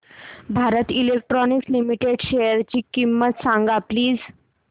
Bharat electronics limited शेअरची किंमत सांगा प्लीज